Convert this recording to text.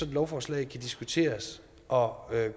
et lovforslag kan diskuteres og